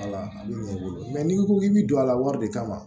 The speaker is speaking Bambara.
Wala a bɛ ɲɛ i bolo n'i ko k'i bɛ don a la wari de kama